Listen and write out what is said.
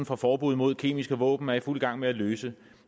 for forbud mod kemiske våben er i fuld gang med at løse